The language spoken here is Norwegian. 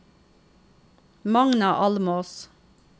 Magna Almås